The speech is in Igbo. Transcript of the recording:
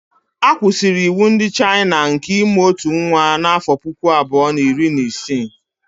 A kwụsịrị iwu ndị Chayịna nke ịmụ ọtụ nwa n'afọ puku abụọ na iri na isii